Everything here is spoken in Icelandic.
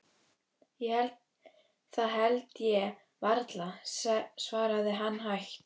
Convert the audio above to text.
Það held ég varla, svaraði hann hægt.